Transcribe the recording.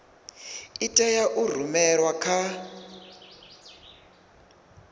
i tea u rumelwa kha